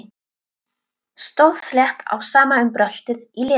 Stóð slétt á sama um bröltið í Lenu.